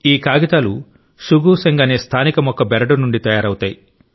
ఈ కాగితాలు శుగు శెంగ్ అనే స్థానిక మొక్క బెరడు నుండి తయారవుతాయి